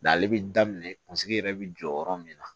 N'ale bɛ daminɛ kunsigi yɛrɛ bɛ jɔ yɔrɔ min na